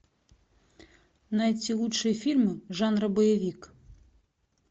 найти лучшие фильмы жанра боевик